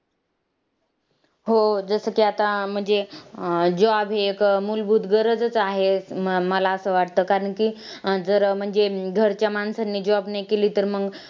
हो, जसं की आता म्हणजे job हे एक मूलभूत गरजच आहे मला असं वाटतं कारण की अं जर म्हणजे घरच्या माणसांनी job नाही केली तर मग